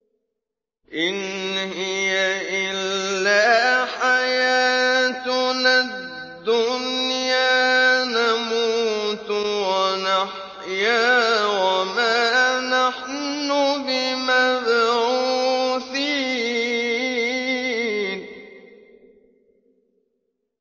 إِنْ هِيَ إِلَّا حَيَاتُنَا الدُّنْيَا نَمُوتُ وَنَحْيَا وَمَا نَحْنُ بِمَبْعُوثِينَ